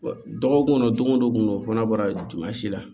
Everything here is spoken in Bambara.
Dɔgɔkun kɔnɔ don go don kungo kɔnɔ la